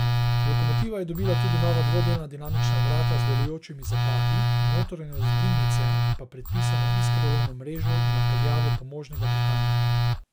Lokomotiva je dobila tudi nova dvodelna dimnična vrata z delujočimi zapahi, v notranjosti dimnice pa predpisano iskrolovno mrežo in napeljavo pomožnega pihalnika.